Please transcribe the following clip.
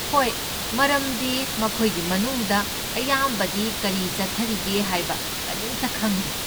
ꯍꯣꯏ, ꯃꯔꯝꯗꯤ ꯃꯈꯣꯏꯒꯤ ꯃꯅꯨꯡꯗ ꯑꯌꯥꯝꯕꯗꯤ ꯀꯔꯤ ꯆꯠꯊꯔꯤꯒꯦ ꯍꯥꯏꯕ ꯀꯔꯤꯝꯇ ꯈꯪꯗꯦ꯫